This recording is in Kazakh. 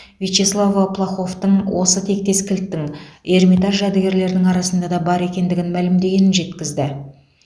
вячеслава плаховтың осы тектес кілттің эрмитаж жәдігерлерінің арасында да бар екендігін мәлімдегенін жеткізді